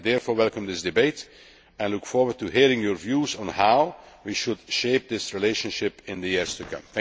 I therefore welcome this debate and look forward to hearing your views on how we should shape this relationship in the years to come.